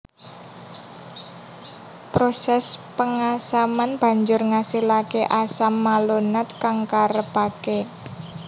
Proses pengasaman banjur ngasilake asam malonat kang karepake